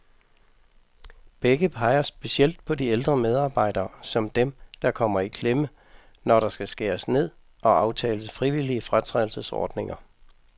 Begge peger specielt på de ældre medarbejdere, som dem, der kommer i klemme, når der skal skæres ned og aftales frivillige fratrædelsesordninger.